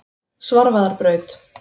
Svarfaðarbraut